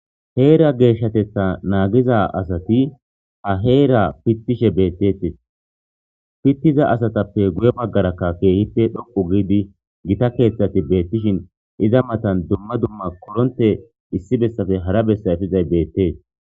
Heera geeshshateththa nagiza asati ha heera pittishe betettes pittiza asatappe guye baggara keehippe gita keththey beettishun iza matan dumma dumma koronttoy issi bessappe hara bessa bizayssi beettes